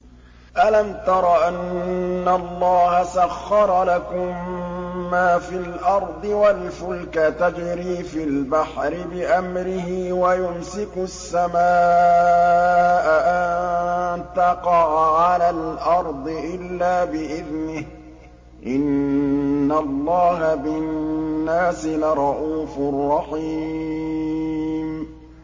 أَلَمْ تَرَ أَنَّ اللَّهَ سَخَّرَ لَكُم مَّا فِي الْأَرْضِ وَالْفُلْكَ تَجْرِي فِي الْبَحْرِ بِأَمْرِهِ وَيُمْسِكُ السَّمَاءَ أَن تَقَعَ عَلَى الْأَرْضِ إِلَّا بِإِذْنِهِ ۗ إِنَّ اللَّهَ بِالنَّاسِ لَرَءُوفٌ رَّحِيمٌ